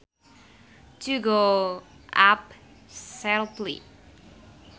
To go up sharply